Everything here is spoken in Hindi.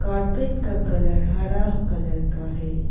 कारपेट का कलर हरा कलर का है।